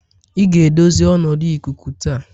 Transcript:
ị ga-edozi ọnọdụ ikuku taa?